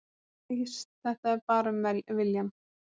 Allt snýst þetta bara um viljann